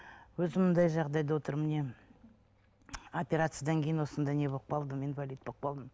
өзім мынандай жағдайда отырмын міне оперциядан кейін осындай не болып қалдым инвалид болып қалдым